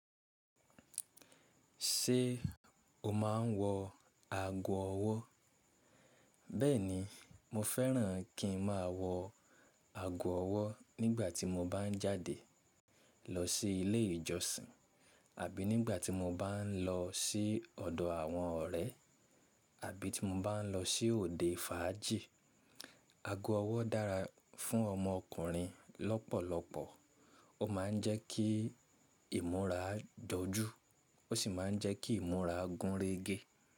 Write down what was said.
Ṣé o máa n wọ ago ọwọ́? Bẹ́ẹ̀ni, mo fẹ́ràn kí n máa wọ ago ọwọ́ nígbà tí mo bá ń jáde lọ sí ilé ìjọsìn àbí nígbà tí mo bá ń lọ sí ọ̀dọ̀ àwọn ọ̀rẹ́ àbí tí mo bá ń lọ sí òde fàájì. Ago ọwọ́ dára fún ọmọ ọkùnrin lọ́pọ̀lọpọ̀, ó máa ń jẹ́ kí ìmúra jojú ó sì máa ń jẹ́ kí ìmúra gúnrégé.